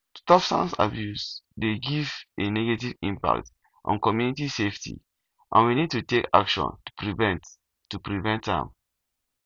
substance abuse dey get a negative impact on community safety and we need to take action to prevent to prevent am